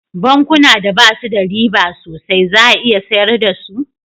Bankuna da basu da riba sosai za a iya sayar da su